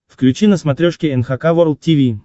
включи на смотрешке эн эйч кей волд ти ви